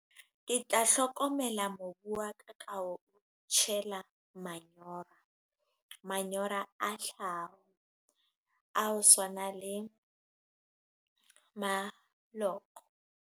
Ke tla hlokomela mobu wa ka, ma ho o tjhela manyora, manyora a thlaho ao swana le maloko.